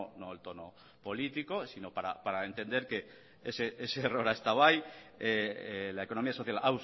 no el tono político sino para entender que ese error ha estado ahí la economía social